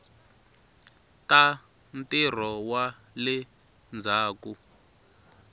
ta ntirho wa le ndzhaku